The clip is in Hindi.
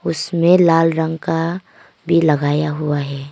इसमें लाल रंग का भी लगाया हुआ है।